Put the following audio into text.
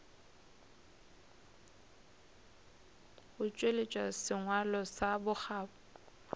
go tšweletša sengwalo sa bokgabo